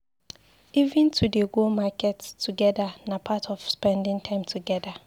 Even to dey go to market togeda na part of spending time together.